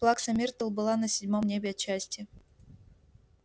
плакса миртл была на седьмом небе от счастья